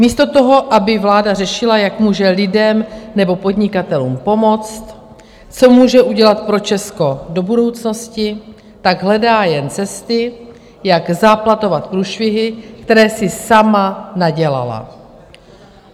Místo toho, aby vláda řešila, jak může lidem nebo podnikatelům pomoct, co může udělat pro Česko do budoucnosti, tak hledá jen cesty, jak záplatovat průšvihy, které si sama nadělala.